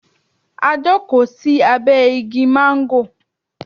We sat under the mango tree